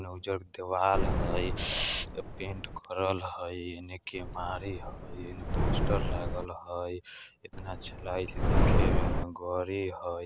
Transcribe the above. ओने उज्जर देवाल हय पेंट करल हय एने केबारी हय एने पोस्टर लागल हय ऐतना अच्छा लागे छै देखे में ओने गड़ी हय।